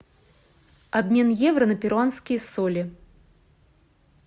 обмен евро на перуанские соли